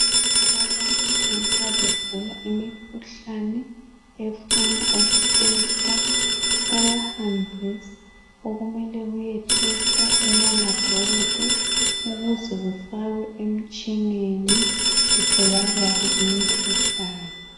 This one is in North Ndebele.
Abantu nxa begula imikhuhlane efunwa ukuthesta bayahambisa okumelwe kuyethestwa emalabhoritri ukuze kufakwe emtshineni kutholakale okuhluphayo.